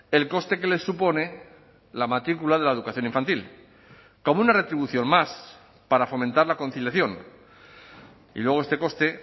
el coste que les supone la matrícula de la educación infantil como una retribución más para fomentar la conciliación y luego este coste